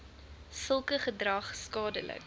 sulke gedrag skadelik